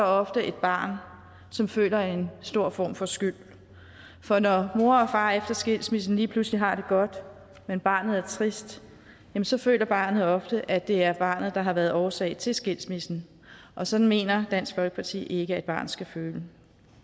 ofte et barn som føler en stor form for skyld for når mor og far efter skilsmissen lige pludselig har det godt men barnet er trist så føler barnet ofte at det er barnet der har været årsag til skilsmissen og sådan mener dansk folkeparti ikke at et barn skal føle